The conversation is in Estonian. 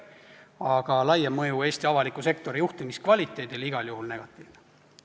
Aga laiem mõju Eesti avaliku sektori juhtimiskvaliteedile on igal juhul negatiivne.